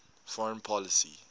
foreign policy